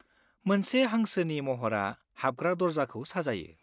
मोनसे हांसोनि महरआ हाबग्रा दर्जाखौ साजायो।